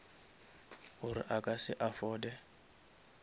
gore a ka se afforde